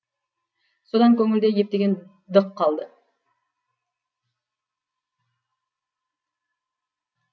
содан көңілде ептеген дық қалды